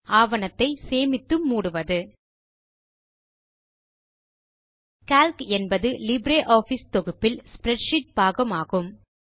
ஆவணத்தை சேமித்து மூடுவது கால்க் என்பது லிப்ரியாஃபிஸ் தொகுப்பில் ஸ்ப்ரெட்ஷீட் பாகம் ஆகும்